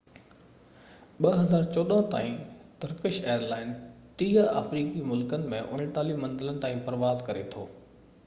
2014 تائين Turkish airlines 30 آفريقي ملڪن ۾ 39 منزلن تائين پرواز ڪري ٿو